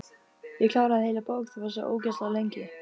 Ég kláraði heila bók, þú varst svo ógeðslega lengi.